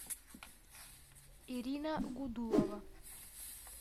ирина гудулова